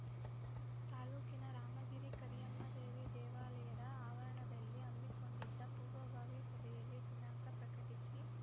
ತಾಲೂಕಿನ ರಾಮಗಿರಿ ಕರಿಯಮ್ಮ ದೇವಿ ದೇವಾಲಯದ ಆವರಣದಲ್ಲಿ ಹಮ್ಮಿಕೊಂಡಿದ್ದ ಪೂರ್ವಭಾವಿ ಸಭೆಯಲ್ಲಿ ದಿನಾಂಕ ಪ್ರಕಟಿಸಿ